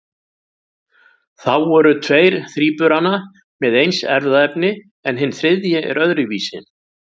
Þá eru tveir þríburana með eins erfðaefni en hinn þriðji er öðruvísi.